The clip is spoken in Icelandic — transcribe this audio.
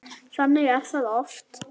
Þannig er það oft.